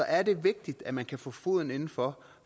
er det vigtigt at man kan få foden inden for